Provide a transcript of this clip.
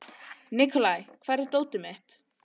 Nikolai, hvar er dótið mitt?